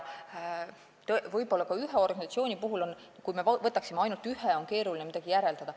Võib-olla ka, kui me võtaksime ainult ühe organisatsiooni, siis oleks keeruline midagi järeldada.